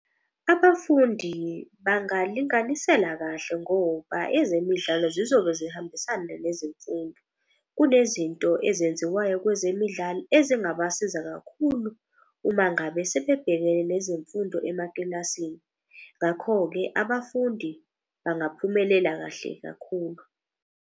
Abafundi bangalinganisela kahle ngoba ezemidlalo zizobe zihambisana nezemfundo. Kunezinto ezenziwayo kwezemidlalo ezingabasiza kakhulu uma ngabe sebebhekene nezemfundo emakilasini. Ngakho-ke abafundi bangaphumelela kahle kakhulu.